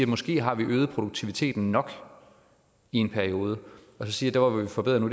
måske har øget produktiviteten nok i en periode og så sige at der hvor vi forbedrer nu